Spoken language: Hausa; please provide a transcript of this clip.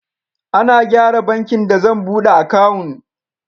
Ana gyara bankin da zan buɗe akawun.